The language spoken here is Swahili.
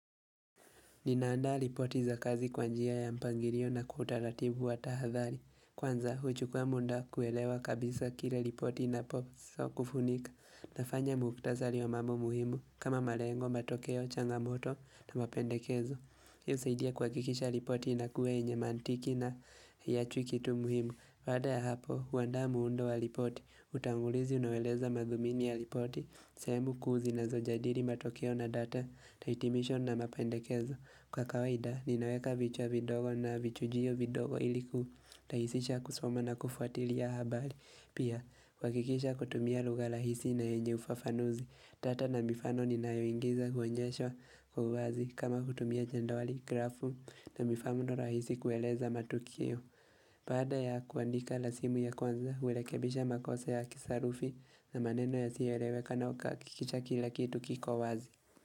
Ninaanda ripoti za kazi kwa njia ya mpangilio na kwa utaratibu wa tahadhari. Kwanza, huchukua muda kuelewa kabisa kile ripoti inaposo kufunika. Nafanya mukhtasari ya mambo muhimu kama malengo, matokeo, changamoto na mapendekezo. Husaidia kuhakikisha ripoti inakuwa yenye mantiki na hiachwi kitu muhimu. Baada ya hapo, huandaa muundo wa ripoti. Utangulizi unaoeleza madhumini ya ripoti. Sehemu kuu zinazojadili matokeo na data, taitimisho na mapendekezo. Kwa kawaida, ninaweka vichwa vidogo na vichujio vidogo iliku rahisisha kusoma na kufuatilia habari. Pia, kuhakikisha kutumia lugha rahisi na yenye ufafanuzi Tata na mifano ninayoingiza kuonyesha uwazi kama kutumia jedwali, grafu na mifano rahisi kueleza matukio Baada ya kuandika lasimu ya kwanza, hurekebisha makosa ya kisarufi na maneno yasiyoeleweka na ukahakikisha kila kitu kiko wazi.